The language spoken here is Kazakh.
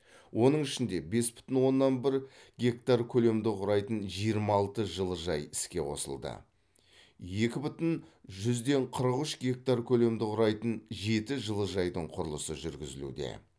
оның ішінде бес бүтін оннан бір гектар көлемді құрайтын жиырма алты жылыжай іске қосылды екі бүтін жүзден қырық үш гектар көлемді құрайтын жеті жылыжайдың құрылысы жүргізілуде